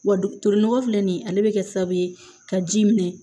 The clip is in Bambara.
Wa dulon nɔgɔ filɛ nin ale bɛ kɛ sababu ye ka ji minɛ